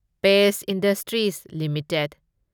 page Industries limited